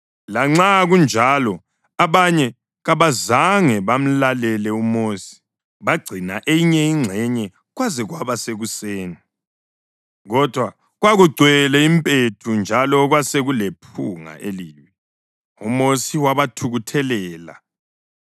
Lanxa kunjalo abanye kabazange bamlalele uMosi: bagcina eyinye ingxenye kwaze kwaba sekuseni. Kodwa kwakugcwele impethu njalo kwasekulephunga elibi. UMosi wabathukuthelela.